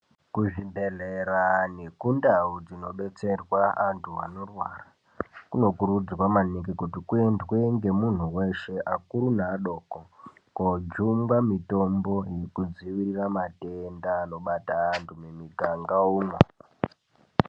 Kuzvibhedhleya nekundau dzinodetserwa antu anorwara kunokurudzirwa maningi kuti kuendwe nemuntu weshe akuru neadoko kojungwa mitombo inodziirira matenda anobata antu mumiganga umwo.